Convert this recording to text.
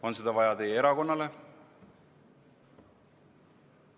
On seda vaja teie erakonnale?